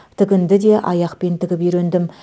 тігінді де аяқпен тігіп үйрендім